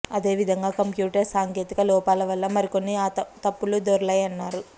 అదేవిధంగా కంప్యూటర్ సాంకేతిక లోపాల వల్ల మరికొన్ని త ప్పులు దొర్లాయన్నారు